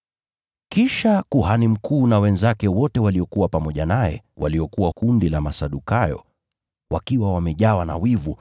Kisha kuhani mkuu na wenzake wote waliokuwa pamoja naye, waliokuwa wa kundi la Masadukayo, wakajawa na wivu.